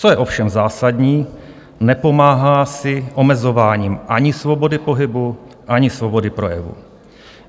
Co je ovšem zásadní, nepomáhá si omezováním ani svobody pohybu, ani svobody projevu.